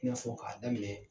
I n'a fɔ k'a daminɛ